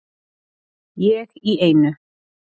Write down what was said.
Ég í einu.